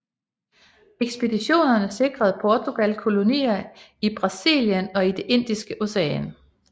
Ekspeditionerne sikrede Portugal kolonier i Brasilien og i Det Indiske Ocean